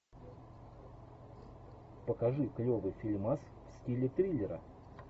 покажи клевый фильмас в стиле триллера